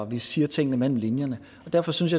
vi siger tingene mellem linjerne og derfor synes